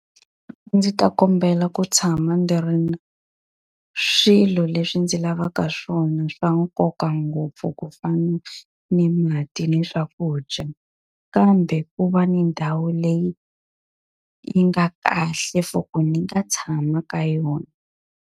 Ndzi ta kombela ku tshama ndzi ri na swilo leswi ndzi lavaka swona swa nkoka ngopfu, ku fana ni mati ni swakudya. Kambe ku va ni ndhawu leyi yi nga kahle for ku ni nga tshama ka yona.